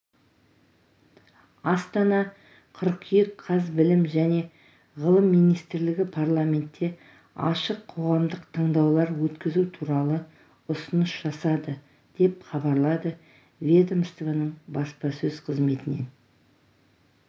астана қыркүйек қаз білім және ғылым министрлігі парламентте ашық қоғамдық тыңдаулар өткізу туралы ұсыныс жасады деп хабарлады ведомствоның баспасөз қызметінен